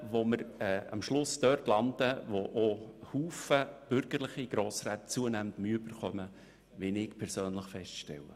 Damit würden wir am Schluss bei einer Lösung landen, mit der auch viele bürgerliche Grossräte zunehmend Mühe hätten, wie ich persönlich feststelle.